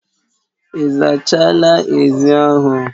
Ị zachala ezi ahụ